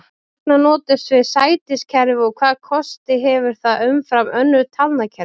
Hvers vegna notum við sætiskerfi og hvaða kosti hefur það umfram önnur talnakerfi?